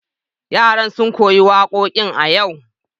Yaran sun koyi wakokin a yau.